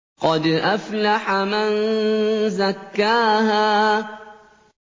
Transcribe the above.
قَدْ أَفْلَحَ مَن زَكَّاهَا